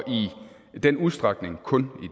i den udstrækning kun